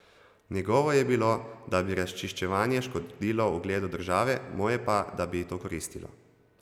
Njegovo je bilo, da bi razčiščevanje škodilo ugledu države, moje pa, da bi ji to koristilo.